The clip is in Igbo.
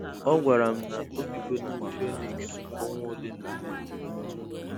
Ọ gwara m, na obigo na Phoenix ọnwa ole na ole.